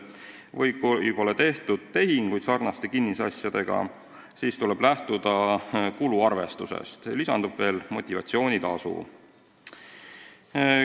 Kui sarnaste kinnisasjadega pole tehinguid tehtud, siis tuleb lähtuda kuluarvestusest ja lisandub veel motivatsioonitasu.